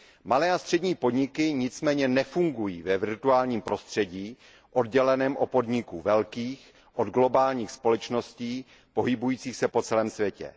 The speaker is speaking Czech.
Malé a střední podniky nicméně nefungují ve virtuálním prostředí odděleném od podniků velkých, od globálních společností pohybujících se po celém světě.